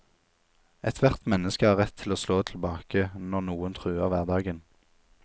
Ethvert menneske har rett til å slå tilbake, når noen truer hverdagen.